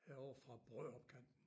Herovre fra Brørup kanten